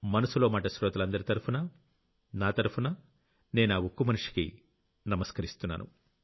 మనసులో మాట శ్రోతలందరి తరఫునా నా తరఫునా నేనా ఉక్కుమనిషికి నమస్కరిస్తున్నాను